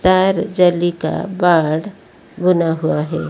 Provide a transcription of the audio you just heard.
तार जेली का बाढ़ बना हुआ हैं।